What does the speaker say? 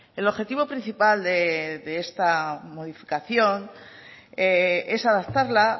el objetivo principal de esta modificación es adaptarla